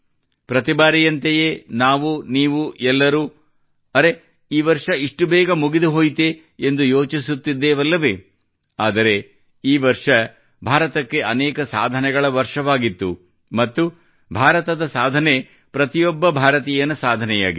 ಪ್ರತಿ ಬಾರಿಯಂತೆಯೇ ನಾವು ನೀವು ಎಲ್ಲರೂ ಅರೆ ಈ ವರ್ಷ ಇಷ್ಟು ಬೇಗ ಮುಗಿದುಹೋಯಿತೇ ಎಂದು ಯೋಚಿಸುತ್ತಿದ್ದೇವಲ್ಲವೇ ಆದರೆ ಈ ವರ್ಷ ಭಾರತಕ್ಕೆ ಅನೇಕ ಸಾಧನೆಗಳ ವರ್ಷವಾಗಿತ್ತು ಮತ್ತು ಭಾರತದ ಸಾಧನೆ ಪ್ರತಿಯೊಬ್ಬ ಭಾರತೀಯನ ಸಾಧನೆಯಾಗಿದೆ